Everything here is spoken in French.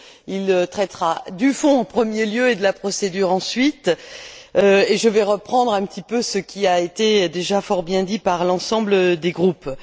Il traitera du fond, en premier lieu, et de la procédure ensuite, et je vais reprendre un petit peu ce qui a été déjà fort bien dit par l'ensemble des groupes.